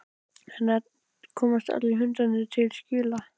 En komast allir hundarnir til skila?